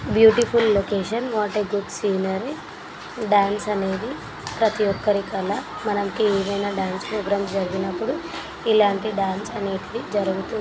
Beautiful location what a good scenery . Dance అనేది ప్రతి ఒక్కరి కల మనకి ఏదైనా డాన్స్ ప్రోగ్రామ్ జరిగినప్పుడు ఇలాంటి డాన్స్ అనేటివి జరుగుతూ --